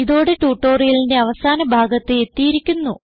ഇതോടെ ട്യൂട്ടോറിയലിന്റെ അവസാന ഭാഗത്ത് എത്തിയിരിക്കുന്നു